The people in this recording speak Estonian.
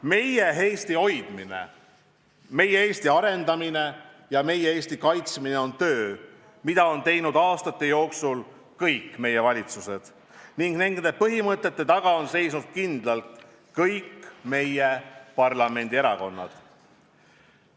Meie Eesti hoidmine, meie Eesti arendamine ja meie Eesti kaitsmine on töö, mida on teinud aastate jooksul kõik meie valitsused, ning nende põhimõtete taga on seisnud kindlalt kõik meie parlamendierakonnad.